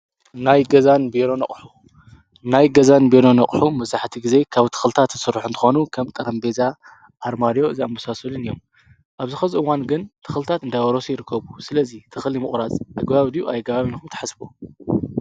ናይ ገዛን ቢሮን አቁሑ: ናይ ገዛን ቢሮን አቁሑ መብዛሕትኡ ግዜ ካብ ተኽልታት ዝስርሑ እንትኾኑ ከም ጠረጴዛ አርማድዮ ዝኣመሳሰሉ እዮም። ኣብዚ ሕዚ እዋን ግን ተኽልታት እናበረሱ ይርከቡ። ስለዚ ተኽሊ ምቑራፅ ኣግባብ ድዩ ኣይኣግባብን ኢልኩም ትሓስቡ?